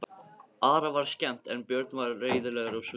Ara var skemmt en Björn var reiðilegur á svipinn.